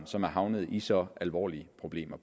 som er havnet i så alvorlige problemer